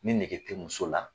Ni nɛge tɛ muso la,